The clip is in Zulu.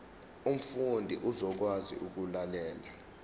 umfundi uzokwazi ukulalela